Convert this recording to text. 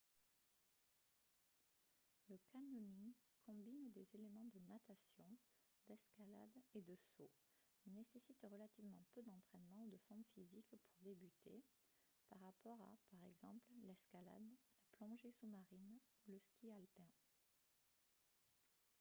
le canyoning combine des éléments de natation d'escalade et de saut mais nécessite relativement peu d'entraînement ou de forme physique pour débuter par rapport à par exemple l'escalade la plongée sous-marine ou le ski alpin